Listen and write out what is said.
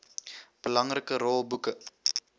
belangrike rol boeke